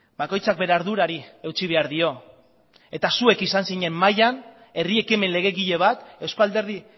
bakoitzak bere ardurari eutsi behar dio eta zuek izan zinen mahaian herri ekimen legegile bat eusko alderdi